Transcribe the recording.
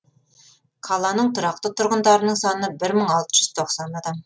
қаланың тұрақты тұрғындарының саны бір мың алты жүз тоқсан адам